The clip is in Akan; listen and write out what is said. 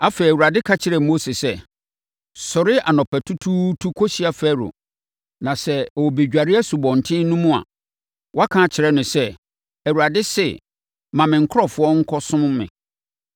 Afei, Awurade ka kyerɛɛ Mose sɛ, “Sɔre anɔpatutuutu kɔhyia Farao na sɛ ɔrebɛdware asubɔnten no mu a, woaka akyerɛ no sɛ, ‘ Awurade se: Ma me nkurɔfoɔ nkɔsom me.